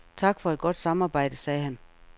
Tak for et godt samarbejde, sagde han.